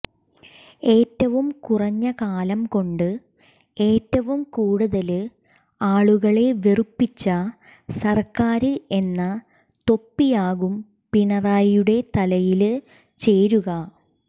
ഏറ്റവും കുറഞ്ഞ കാലം കൊണ്ട് ഏറ്റവും കൂടുതല് ആളുകളെ വെറുപ്പിച്ച സര്ക്കാര് എന്ന തൊപ്പിയാകും പിണറായിയുടെ തലയില് ചേരുക